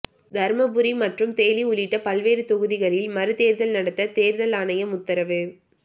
தருமபுரி மற்றும் தேனி உள்ளிட்ட பல்வேறு தொகுதிகளில் மறுதேர்தல் நடத்த தேர்தல் ஆணையம் உத்தரவு